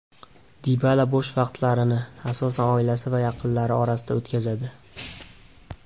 Dibala bo‘sh vaqtlarini, asosan oilasi va yaqinlari orasida o‘tkazadi.